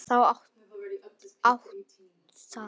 Þú átt það.